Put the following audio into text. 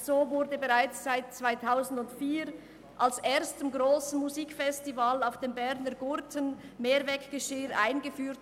So wurde bereits 2004 am ersten grossen Musikfestival auf dem Berner Gurten Mehrweggeschirr eingeführt.